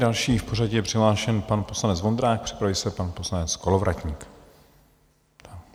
Další v pořadí je přihlášen pan poslanec Vondrák, připraví se pan poslanec Kolovratník.